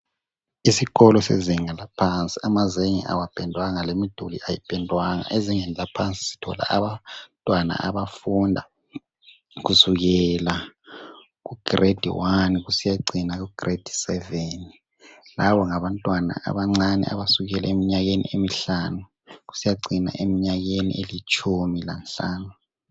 Isikolo sezinga laphansi amazenge awapendwanga lemiduli ayipendwanga. Ezingeni laphansi sithola abantwana abafunda kusukela ku"grade1" kusiyacina ku"grade7", labo ngabantwana abancane abasukele mnyakeni emihlanu kusiyacina emnyakeni elitshumi lanhlanu.